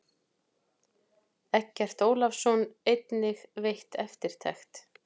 Eggert Ólafsson einnig veitt eftirtekt.